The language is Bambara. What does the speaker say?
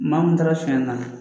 Maa mun taara fiɲɛ na